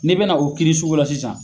N'e bena o kiiri sugu la sisan